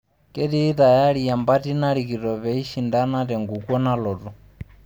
Ketii tayari empati narikito pee eishandana tenkukuo nalotu.